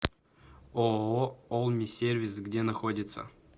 ооо олми сервис где находится